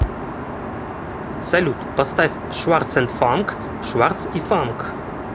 салют поставь шварц энд фанк шварц и фанк